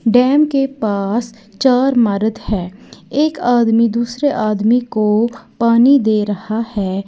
Dam के पास चार मरद है एक आदमी दूसरे आदमी को पानी दे रहा है।